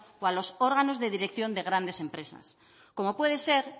o a los órganos de dirección de grandes empresas como puede ser